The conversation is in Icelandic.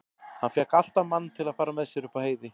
Hann fékk alltaf mann til að fara með sér upp á heiði.